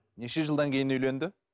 неше жылдан кейін үйленді